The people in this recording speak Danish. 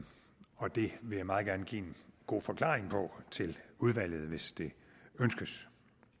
og det vil jeg meget gerne give en god forklaring på til udvalget hvis det ønskes